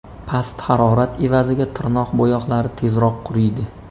Past harorat evaziga tirnoq bo‘yoqlari tezroq quriydi.